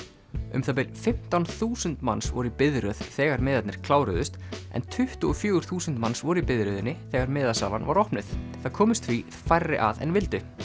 um það bil fimmtán þúsund manns voru í biðröð þegar miðarnir kláruðust en tuttugu og fjögur þúsund manns voru í biðröðinni þegar miðasalan var opnuð það komust því færri að en vildu